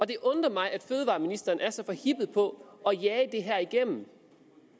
det undrer mig at fødevareministeren er så forhippet på at jage det her igennem